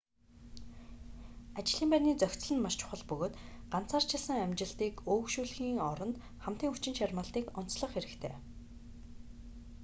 ажлын байрны зохицол нь маш чухал бөгөөд ганцаарчилсан амжилтыг өөгшүүлэхийн оронд хамтын хүчин чармайлтыг онцлох хэрэгтэй